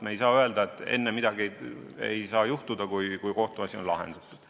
Me ei saa öelda, et midagi ei saa juhtuda, enne kui kohtuasi on lahendatud.